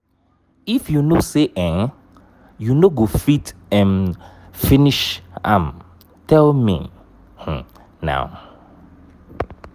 if you no say um you no go fit um finish am tell me um now.